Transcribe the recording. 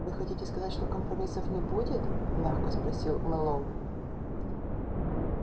вы хотите сказать что компромиссов не будет мягко спросил мэллоу